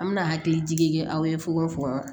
An bɛna hakili jigi kɛ aw ye fukonfukon